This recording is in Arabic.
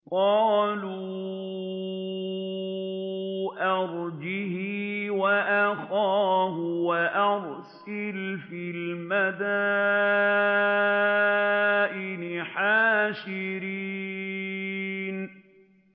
قَالُوا أَرْجِهْ وَأَخَاهُ وَأَرْسِلْ فِي الْمَدَائِنِ حَاشِرِينَ